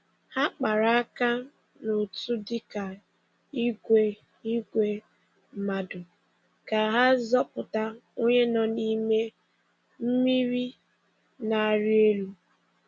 Ha kpara aka n’otu dịka ìgwè ìgwè mmadụ ka ha zọpụta onye nọ n’ime mmiri na-arị elu.